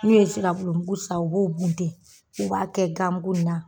N'u ye sira bulu bulu san u b'o buntɛ u b'a kɛ ganbu na.